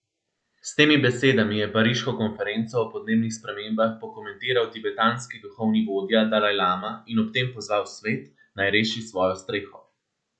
S temi besedami je pariško konferenco o podnebnih spremembah pokomentiral tibetanski duhovni vodja dalajlama in ob tem pozval svet, naj reši svojo streho.